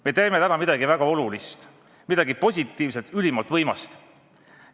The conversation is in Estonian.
Me teeme täna midagi väga olulist, midagi positiivset, ülimalt võimast.